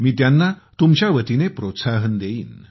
मी त्यांना तुमच्या वतीने प्रोत्साहन देईन